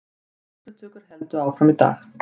Skýrslutökur héldu áfram í dag